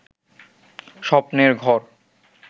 স্বপ্নের ঘর